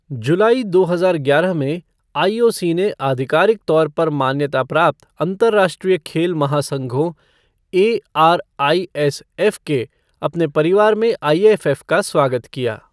जुलाई दो हजार ग्यारह में, आईओसी ने आधिकारिक तौर पर मान्यता प्राप्त अंतर्राष्ट्रीय खेल महासंघों एआरआईएसएफ़ के अपने परिवार में आईएफएफ़ का स्वागत किया।